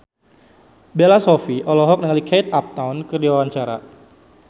Bella Shofie olohok ningali Kate Upton keur diwawancara